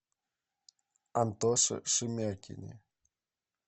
антоше шемякине